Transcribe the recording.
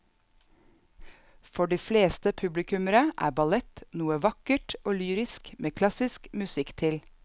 For de fleste publikummere er ballett noe vakkert og lyrisk med klassisk musikk til.